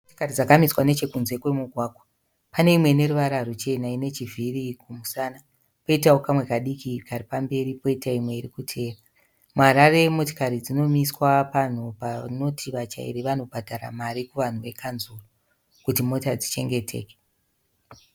Motikari dzakamiswa nechekunze kwemigwagwa. Pane imwe ineruvara ruchena ine chivhiri kumusana, poitawo kamwe kadiki kari pamberi, kwoitawo imwe iri kutevera . MuHarare motikari dzinomiswa panhu panoti vatyairi vanobhandara mari kuvanhu vekanzuru kuti mota dzichengeteke.